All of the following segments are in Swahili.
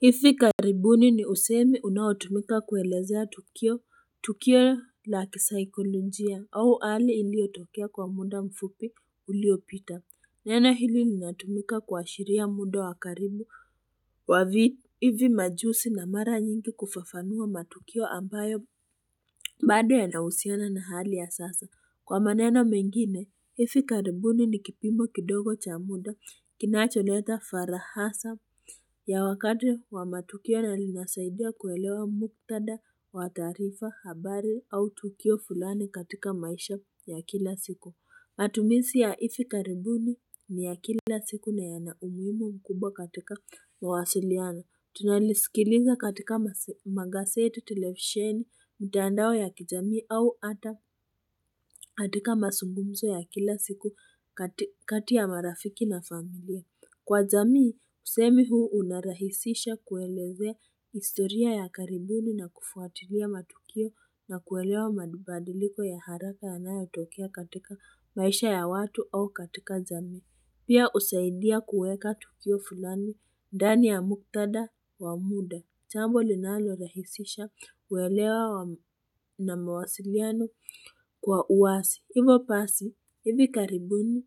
Hivi karibuni ni usemi unaotumika kuelezea tukio tukio la kisaikolojia au ali iliotokea kwa muda mfupi uliopita neno hili linatumika kuashiria muda wa karibu wavi hivi majusi na mara nyingi kufafanua matukio ambayo bado yanahusiana na hali ya sasa kwa maneno mengine hifi karibuni ni kipimo kidogo cha muda kinacho leta farahasa ya wakati wa matukio na linasaidia kuelewa muktada, wa taarifa, habari au tukio fulani katika maisha ya kila siku. Matumisi ya hifi karibuni ni ya kila siku na yana umuhimu mkubwa katika mawasilianao Tunalisikiliza katika mase magazeti, televisheni, mtandao ya kijamii au ata katika masungumzo ya kila siku kati kati ya marafiki na familia. Kwa jamii, usemi huu unarahisisha kuelezea historia ya karibuni na kufuatilia matukio na kuelewa madubadiliko ya haraka yanayatokea katika maisha ya watu au katika jamii. Pia usaidia kueka tukio fulani, ndani ya muktadha wa muda. Jambo linalo rahisisha kuelewa na mawasiliano kwa uwasi. Ivo basi, hivi karibuni,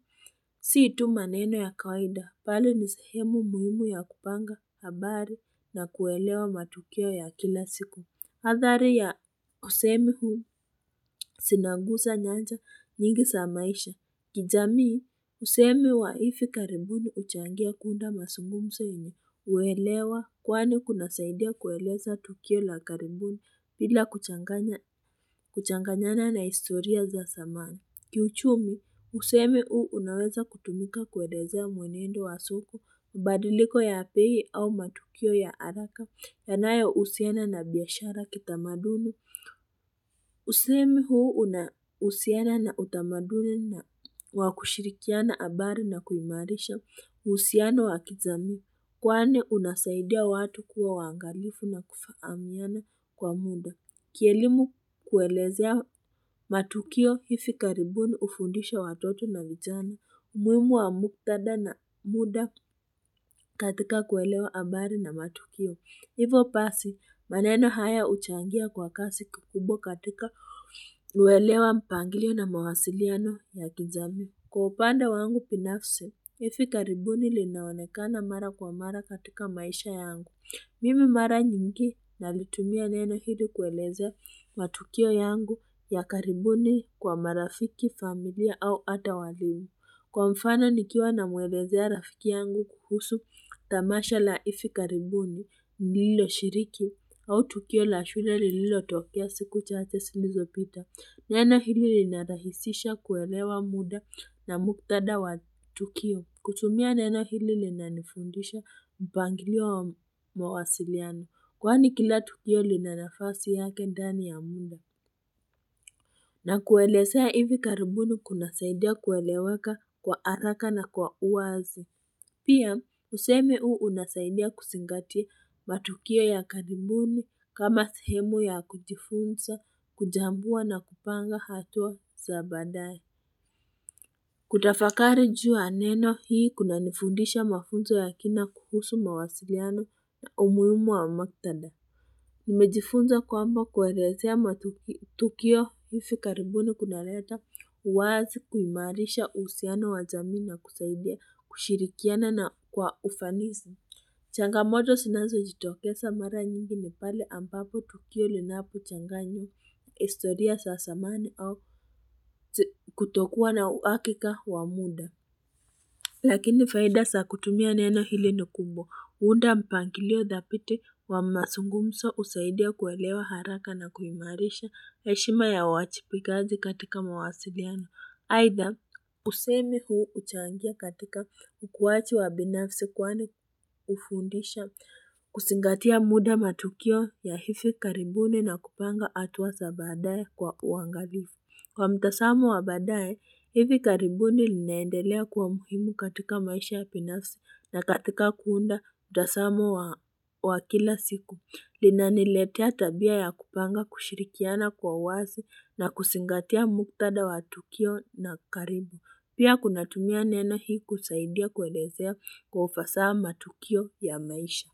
si tu maneno ya kawaida, bali ni sehemu muhimu ya kupanga, habari, na kuelewa matukio ya kila siku. Hathari ya usemi huu, sinangusa nyanja nyingi za maisha. Kijamii, usemi wa hivi karibuni huchangia kuunda masungumso yenye huelewa, kwani kunasaidia kueleza tukio la karibuni, bila kuchanganya kuchanganyana na historia za samani. Kiuchumi, usemi huu unaweza kutumika kuelezea mwenendo wa soko, badiliko ya bei au matukio ya araka, yanayo usiana na biashara kitamaduni. Usemi huu unausiana na utamaduni na wakushirikiana abari na kuimarisha, uhusiano wakijamii, kwani unasaidia watu kuwa wangalifu na kufahamiana kwa muda. Kielimu kuelezea matukio hifi karibuni ufundisha watoto na vijana umuhimu wa muktadha na muda katika kuelewa ambari na matukio. Hivo basi, maneno haya huchangia kwa kasi kikubwa katika huelewa mpangilio na mawasiliano ya kijami. Kwa upande wangu binafsi hifi karibuni linaonekana mara kwa mara katika maisha yangu. Mimi mara nyingi nalitumia neno hili kuelezea matukio yangu ya karibuni kwa marafiki, familia au ata walimu. Kwa mfano nikiwa namuelezea rafiki yangu kuhusu tamasha la ifi karibuni lilo shiriki au tukio la shule lilo tokea siku chache silizo pita. Neno hili linarahisisha kuelewa muda na muktadha wa tukio. Kutumia neno hili lina nifundisha mpangilio wa mawasiliano kwani kila tukio lina nafasi yake ndani ya munda. Na kuelezea hivi karibuni kuna saidia kueleweka kwa araka na kwa uwazi. Pia, usemi uu unasaidia kusingatia matukio ya karibuni kama sehemu ya kujifunza, kujambua na kupanga hatua sa baadaye. Kutafakari juu ya neno hii kuna nifundisha mafunzo ya kina kuhusu mawasiliano umuhimu wa maktadha. Nimejifunza kwamba kuelezea matukio hifu karibuni kuna leta uwazi kuimarisha uhusiano wa jamii na kusaidia kushirikiana na kwa ufanisi. Changamoto sinazo jitokesa mara nyingi nipale ambapo tukio linapo changanya historia sa samani au kutokuwa na uakika wa muda. Lakini faida sa kutumia neno hili ni kumbwa. Huunda mpangilio dhabiti wa masungumso usaidia kuelewa haraka na kuimarisha heshima ya uwajibikaji katika mawasiliano. Aidha, usemi huu huchangia katika mkuwachi wa binafsi kwani hufundisha kusingatia muda matukio ya hivi karibuni na kupanga atua sa baadaye kwa uwangalifu. Kwa mtasamo wa badaaye, hivi karibuni linaendelea kuwa muhimu katika maisha ya binafsi na katika kuunda mtasamo wa wa kila siku. Linaniletea tabia ya kupanga kushirikiana kwa uwazi na kusingatia muktadha wa tukio na karibu. Pia kunatumia neno hii kusaidia kuelezea kwa ufasaha matukio ya maisha.